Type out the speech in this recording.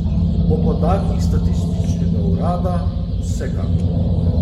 Po podatkih statističnega urada vsekakor.